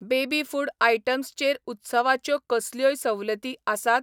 Baby food items चेर उत्सवाच्यो कसल्योय सवलती आसात ?